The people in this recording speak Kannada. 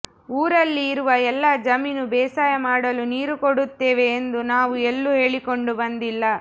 ಊರಲ್ಲಿ ಇರುವ ಎಲ್ಲ ಜಮೀನು ಬೇಸಾಯ ಮಾಡಲು ನೀರು ಕೊಡುತ್ತೇವೆ ಎಂದು ನಾವು ಎಲ್ಲೂ ಹೇಳಿಕೊಂಡು ಬಂದಿಲ್ಲ